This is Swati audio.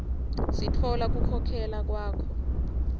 sitfola kukhokhela kwakho